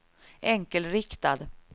enkelriktad